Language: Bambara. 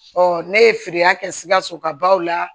ne ye feereya kɛ sikasokaw la